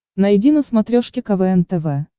найди на смотрешке квн тв